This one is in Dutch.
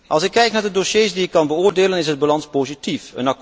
Als ik kijk naar de dossiers die ik kan beoordelen, is de balans positief.